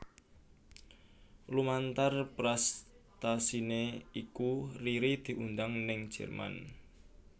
Lumantar prestasiné iku Riri diundang ning Jerman